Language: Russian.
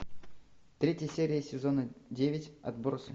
третья серия сезона девять отбросы